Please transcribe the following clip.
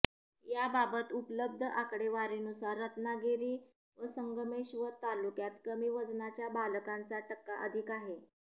याबाबत उपलब्ध आकडेवारीनुसार रत्नागिरी व संगमेश्वर तालुक्यात कमी वजनाच्या बालकांचा टक्का अधिक आहे